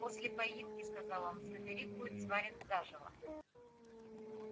после поимки сказал он фредерик будет сварен заживо